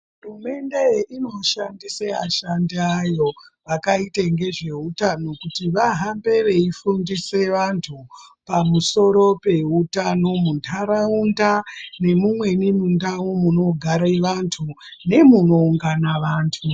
Hurumende inoshandise ashandi ayo akaite ngezveutano kuti vahambe veifundisa vantu pamusoro peutano munharaunda nemumweni mundau munogare vantu nemumweni mundau munoungana vantu.